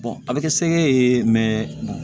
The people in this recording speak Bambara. a bɛ kɛ sekɛ ye